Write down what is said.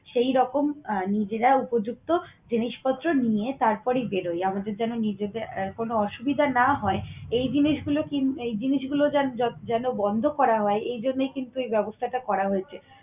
সেইরকম আহ নিজেরা উপযুক্ত জিনিসপত্র নিয়ে তারপরেই বেরোই। আমাদের যেন নিজেদের আহ কোন অসুবিধা না হয় এই জিনিসগুলো কিন্ত~ এই জিনিসগুলো যেন বন্ধ করা হয় এই জন্য কিন্তু এই ব্যবস্থাটা করা হয়েছে।